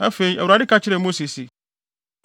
Afei, Awurade ka kyerɛɛ Mose se,